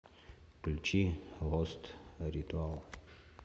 включи гост ритуал